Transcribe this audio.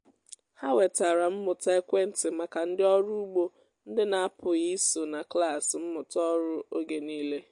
ha wetara mmụta ekwentị maka ndị ọrụ ugbo ndị na-apụghị iso na klas mmụta ọrụ oge niile